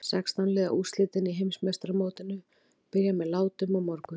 Sextán liða úrslitin í Heimsmeistaramótinu byrja með látum á morgun.